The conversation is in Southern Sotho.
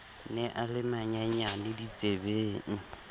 ne a le manyenyane ditsebeng